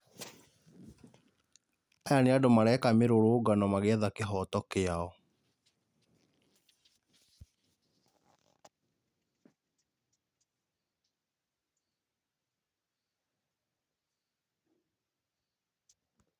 Aya nĩ andũ mareka mĩrũrũngano magĩetha kĩhoto kĩao.